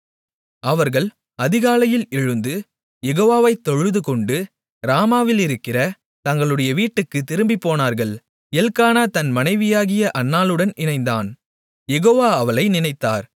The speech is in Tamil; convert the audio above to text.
அவர்கள் அதிகாலையில் எழுந்து யெகோவாவைத் தொழுதுகொண்டு ராமாவிலிருக்கிற தங்களுடைய வீட்டுக்குத் திரும்பிப் போனார்கள் எல்க்கானா தன் மனைவியாகிய அன்னாளுடன் இணைந்தான் யெகோவா அவளை நினைத்தார்